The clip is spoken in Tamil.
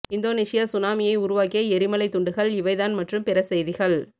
இந்தோனீசியா சுனாமியை உருவாக்கிய எரிமலை துண்டுகள் இவைதான் மற்றும் பிற செய்திகள்